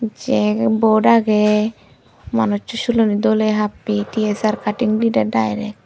sey board agey manuchu sulani doley happey ti es aar cutting didey direct.